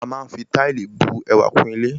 A máa fi Táìlì bu ẹwà kún ilé